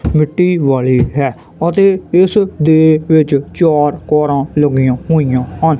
ਮਿੱਟੀ ਵਾਲੀ ਹੈ ਅਤੇ ਇਸ ਦੇ ਵਿੱਚ ਚਾਰ ਕਾਰਾਂ ਲੱਗੀਆਂ ਹੋਇਆ ਹਨ।